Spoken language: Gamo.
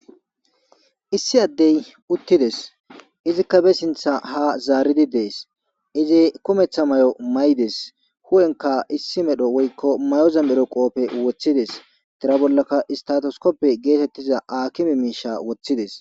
Issi adde utides izika basinta ha zaridi des izi kumeta mayo mayides huyenika issi medho woyikko mayoza medho qophe wotides tiraza bolaka istatiskope getetiza akime miishsha wotides.